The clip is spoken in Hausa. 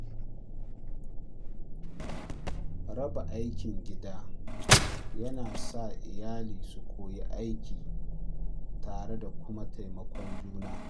Raba aikin gida yana sa iyali su koyi aiki tare da kuma taimakon juna.